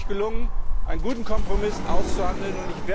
Es ist wirklich gelungen, einen guten Kompromiss auszuhandeln.